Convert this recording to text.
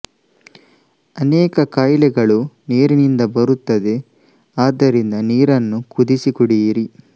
ಅನೇಕ ಕಾಯಿಲೆಗಳು ನೀರಿನಿಂದ ಬರುತ್ತದೆ ಆದ್ದರಿಂದ ನೀರನ್ನು ಕುದಿಸಿ ಕುಡಿಯಿರಿ